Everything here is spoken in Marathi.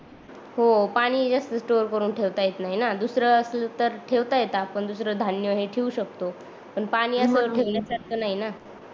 हो पाणी पण जास्त स्टोर करून ठेवता येत नाही न दुसर असत तर ठेवता येत आपण दुसर धान्य हे ठेऊ शकतो पण पाणी अस ठेवल सारख नाही न